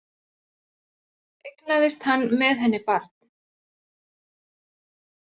Eignaðist hann með henni barn